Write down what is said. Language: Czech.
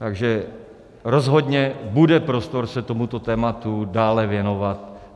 Takže rozhodně bude prostor se tomuto tématu dále věnovat.